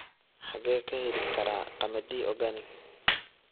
xagee ka heli karaa qamadi organic